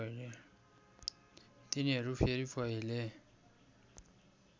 तिनीहरू फेरि पहिले